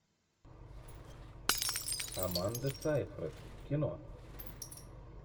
аманда сайфред кино